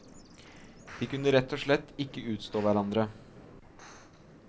De kunne rett og slett ikke utstå hverandre.